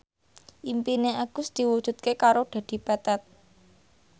impine Agus diwujudke karo Dedi Petet